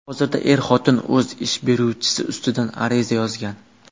Hozirda er-xotin o‘z ish beruvchisi ustidan ariza yozgan.